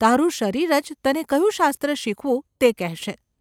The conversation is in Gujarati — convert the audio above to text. તારું શરીર જ તને કયું શાસ્ત્ર શીખવું તે કહેશે.